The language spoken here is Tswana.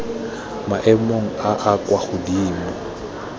maemong a a kwa godimo